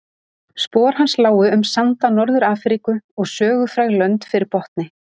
Spor hans lágu um sanda Norður-Afríku og sögufræg lönd fyrir botni